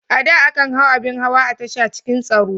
A da, akan hau abin hawa a tasha cikin tsaro.